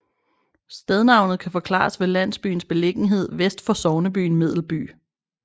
Stednavnet kan forklares ved landsbyens beliggenhed vest for sognebyen Medelby